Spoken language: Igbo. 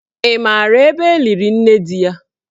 Ị maara ebe eliri nne di ya?